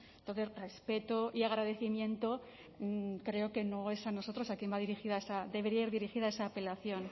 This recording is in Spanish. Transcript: entonces respeto y agradecimiento creo que no es a nosotros a quien debería ir dirigida esa apelación